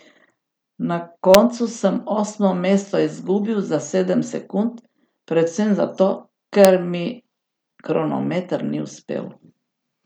Na koncu sem osmo mesto izgubil za sedem sekund, predvsem za to, ker mi kronometer ni uspel.